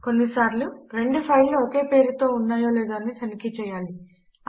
కొన్నిసార్లు రెండు ఫైళ్లు ఒకే పేరుతో ఉన్నాయి లేదో తనిఖీ చెయ్యాలి